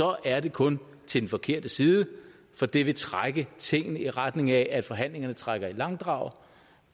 er det kun til den forkerte side for det vil trække tingene i retning af at forhandlingerne trækker i langdrag